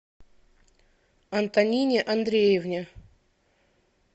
антонине андреевне